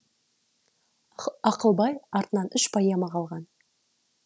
ақылбай артынан үш поэма қалған